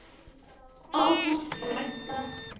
Ágústa frænka.